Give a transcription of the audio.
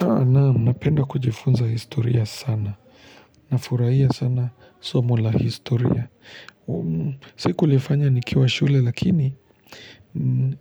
Naam napenda kujifunza historia sana. Nafurahia sana somo la historia. Si kulifanya nikiwa shule lakini